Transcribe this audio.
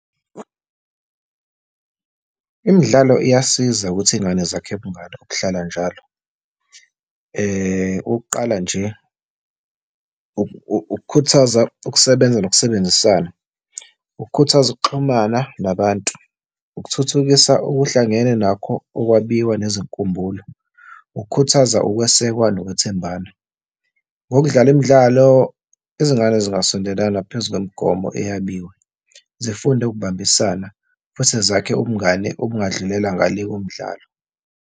Imidlalo iyasiza ukuthi izingane zakhe ubungani obuhlala njalo. Okokuqala nje, ukukhuthaza ukusebenza nokusebenzisana, ukukhuthaza ukuxhumana nabantu, ukuthuthukisa okuhlangene nakho okwabiwe nezinkumbulo, ukukhuthaza ukwesekwa nokwethembana. Ngokudlala imidlalo, izingane zingasondelana phezu kwemigomo eyabiwe, zifunde ukubambisana futhi zakhe ubungane obungadlulela ngale komdlalo.